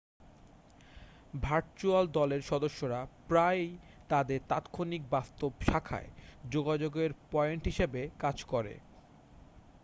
virtual দলের সদস্যরা প্রায়ই তাদের তাৎক্ষণিক বাস্তব শাখায় যোগাযোগের পয়েন্ট হিসাবে কাজ করে